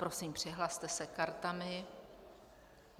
Prosím, přihlaste se kartami.